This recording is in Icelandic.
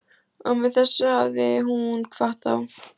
Og með þessu hafði hún kvatt þá.